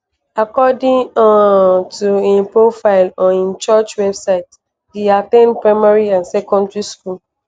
according um to im profile on im church website e at ten d primary and secondary school.